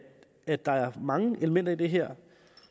at der er mange elementer i det her